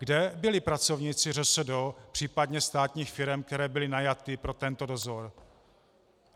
Kde byli pracovníci ŘSD, případně státních firem, které byly najaty pro tento dozor?